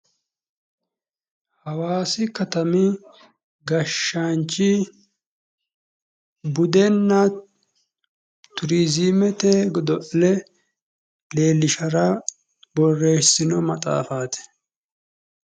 Hawaasi katami gashaanchi budenna turiizimete godo'le leellishara borreessino maxaafaati.